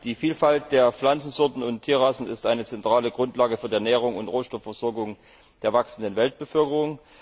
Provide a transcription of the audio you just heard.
Die Vielfalt der Pflanzensorten und Tierrassen ist eine zentrale Grundlage für die Ernährung und Rohstoffversorgung der wachsenden Weltbevölkerung.